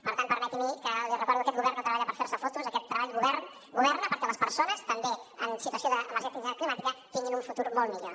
per tant permeti’m li recordo que aquest govern no treballa per fer se fotos aquest govern governa perquè les persones també en situació d’emergència climàtica tinguin un futur molt millor